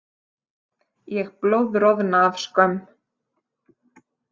Ég blóðroðna af skömm.